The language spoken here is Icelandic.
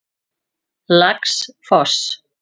Laxfoss